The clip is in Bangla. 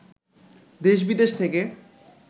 দেশবিদেশ থেকে